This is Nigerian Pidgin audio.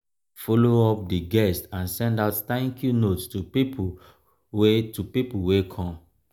follow up di guests and send out thank you note to pipo wey to pipo wey come